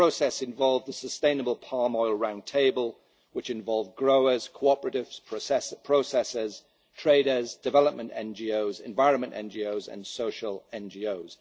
true. The process involved a sustainable palm oil round table which involved growers, cooperatives, processers, traders, development NGOs, environment NGOs and social